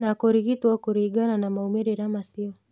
Na kũrigitwo kũringana na maũmĩrĩra macio